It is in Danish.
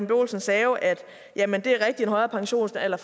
olsen sagde at en højere pensionsalder